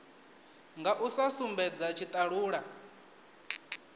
nga u sa sumbedza tshitalula